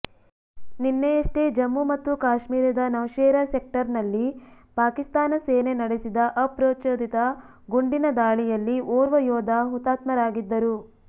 ನಿನ್ನೆಯಷ್ಟೇ ಜಮ್ಮು ಮತ್ತು ಕಾಶ್ಮೀರದ ನೌಶೇರ ಸೆಕ್ಟರನಲ್ಲಿ ಪಾಕಿಸ್ತಾನ ಸೇನೆ ನಡೆಸಿದ ಅಪ್ರಚೋದಿತ ಗುಂಡಿನ ದಾಳಿಯಲ್ಲಿ ಓರ್ವ ಯೋಧ ಹುತಾತ್ಮರಾಗಿದ್ದರು